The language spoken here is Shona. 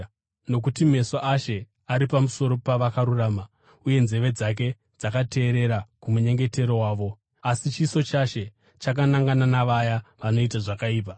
Nokuti meso aShe ari pamusoro pavakarurama, uye nzeve dzake dzakateerera kumunyengetero wavo, asi chiso chaShe chakanangana navaya vanoita zvakaipa.”